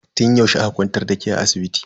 Tun yaushe aka kwantar da ke a asibiti?